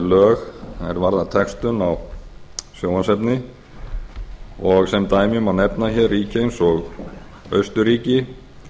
er varða textun á sjónvarpsefni sem dæmi má nefna hér ríki eins og austurríki